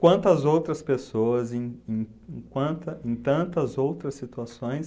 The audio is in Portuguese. Quantas outras pessoas, em em em quanta, em tantas outras situações...